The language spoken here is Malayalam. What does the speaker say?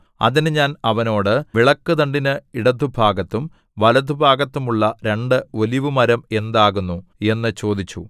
അതിന് ഞാൻ അവനോട് വിളക്കുതണ്ടിന് ഇടത്തുഭാഗത്തും വലത്തുഭാഗത്തും ഉള്ള രണ്ട് ഒലിവു മരം എന്താകുന്നു എന്നു ചോദിച്ചു